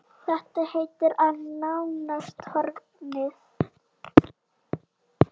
Þetta heiti er nánast horfið.